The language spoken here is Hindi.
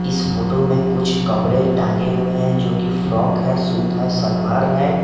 इस फोटो में कुछ कपड़े टांगें हुए हैं जो कि फ्रॉक है सूट है सलवार है।